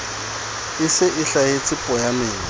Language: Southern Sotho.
e se e hlahelletse poyaneng